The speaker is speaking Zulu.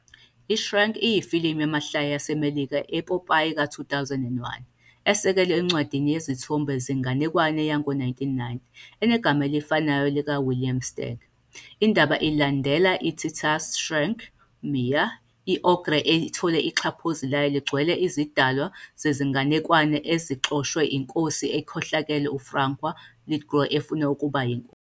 I-Shrek iyifilimu yamahlaya yaseMelika epopayi ka-2001 esekelwe encwadini yezithombe zenganekwane yango-1990 enegama elifanayo likaWilliam Steig. Indaba ilandela i-titular Shrek, Myers, i-ogre ethola ixhaphozi layo ligcwele izidalwa zezinganekwane ezixoshwe iNkosi ekhohlakele uFarquaad, Lithgow, efuna ukuba yinkosi.